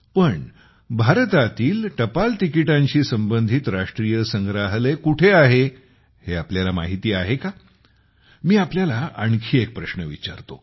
पण भारतातील टपाल तिकिटांशी संबंधित राष्ट्रीय संग्रहालय कोठे आहे हे तुम्हाला माहिती आहे का मी तुम्हाला आणखी एक प्रश्न विचारतो